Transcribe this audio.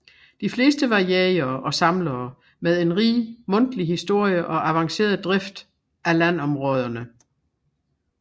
De fleste var jægere og samlere med en rig mundtlig historie og avanceret drift af landområderne